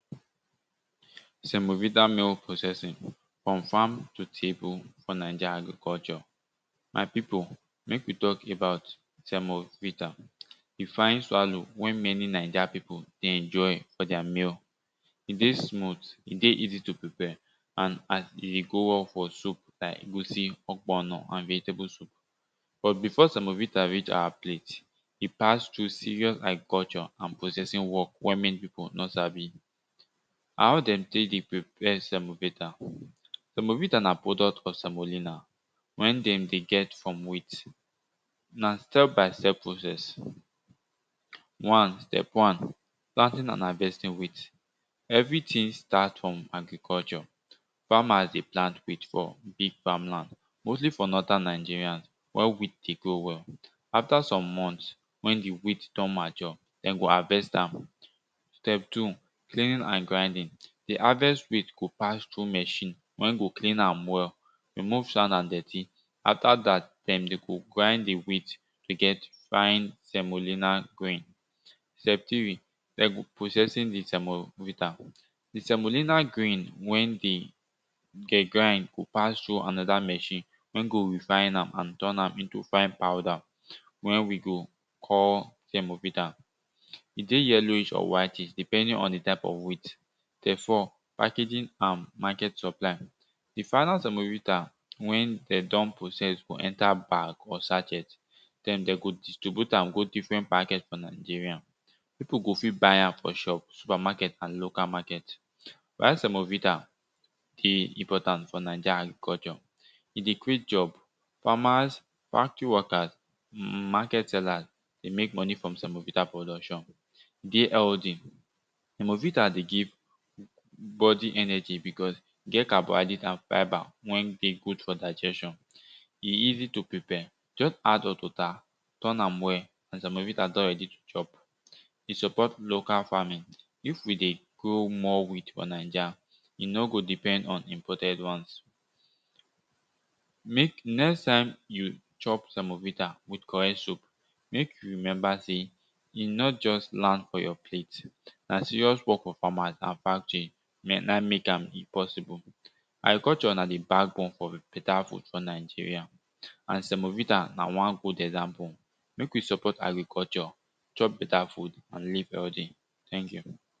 Semovita mill processing from farm to table for naija agriculture. My pipu mek we talk about semovita, di fine swallow wey many naija pipu dey enjoy for their meal. E dey smooth, e dey easy to prepare and e dey go well for soup like egusi, ogbono and vegetable soup. But before semovita reach our plate, e pass through serious agriculture and processing work wen many pipu nor sabi. How de tek dey prepare semovita? Semovita na product of semolina. Wen dem dey get from wheat. Na step by step process. One Step one planting and harvesting wheat. Everything start from agriculture farmers dey plant wheat for big farm land mostly for northern nigeria wen wheat den grow well after some month wen di wheat don mature, den go harvest am. Step two peeling and grinding, di harvest go pass through machine wen go clean am well remove sand and dirty after dat dem go grind di wheat to get fine semolina grain. Step three processing di semovita. Di semolina grain when dem get go pass through anoda machine wen go refne am and turn am into fine powder wen we go call semovita. E dey yellowish or whitish depending on di type of wheat. Step four. Packaging and market supply di final semovita wen de don process go enter bag or sachet den de go distribute am go different market for nigeria pipu go fit buy am for shop, super market and local market. Why semovita dey important for naija agriculture e dey create job. farmers, factory workers, market sellers dey mek moni from semovita production. Dey healthy. Semovita dey give bodi energy because e carbonhydrate and fibre wer dey good for digestion. E easy to prepare just add hot water turn am well and semovita don ready to chop. E support local farming. If we dey grow more wheat for naija we no go depend on imported ones. Mek next time you chop semovita wit correct soup mek you remember sey e no just land for your plate na serious work of farmers and factory na mek am possible. Agriculture na di back bone for beta food for Nigeria and semovita na wan good example. Mek we support agriculture, chop beta food and live healthy thank you.